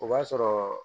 O b'a sɔrɔ